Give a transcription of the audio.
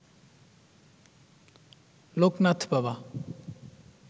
লোকনাথ বাবা